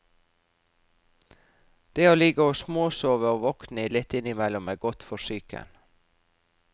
Det å ligge og småsove og våkne litt innimellom er godt for psyken.